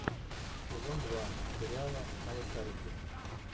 сезон два сериала малышарики